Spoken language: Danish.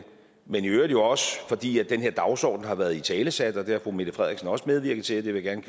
men i øvrigt også fordi den her dagsorden har været italesat og det har fru mette frederiksen også medvirket til det vil jeg